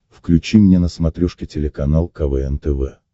включи мне на смотрешке телеканал квн тв